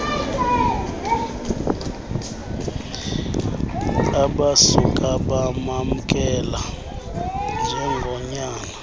abasuka bamamkela njengonyana